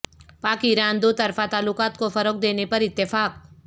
پاک ایران دوطرفہ تعلقات کو فروغ دینے پر اتفاق